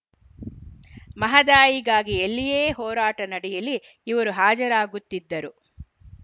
ಮಹದಾಯಿಗಾಗಿ ಎಲ್ಲಿಯೇ ಹೋರಾಟ ನಡೆಯಲಿ ಇವರು ಹಾಜರಾಗುತ್ತಿದ್ದರು